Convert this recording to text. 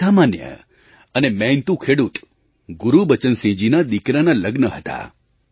એક સામાન્ય અને મહેનતુ ખેડૂત ગુરુબચનસિંહજીના દિકરાનાં લગ્ન હતાં